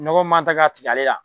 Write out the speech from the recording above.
Nɔgɔ man tɛ ka tig'ale la